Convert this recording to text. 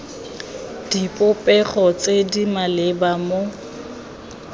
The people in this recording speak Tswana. dipopego tse di maleba mo